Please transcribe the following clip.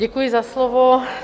Děkuji za slovo.